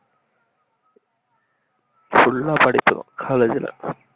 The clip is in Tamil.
full ஆ படிக்கணும் காலேஜ்ல